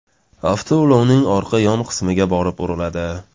avtoulovining orqa yon qismiga borib uriladi.